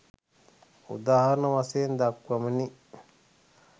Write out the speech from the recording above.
උදාහරණ වශයෙන් දක්වමිනි.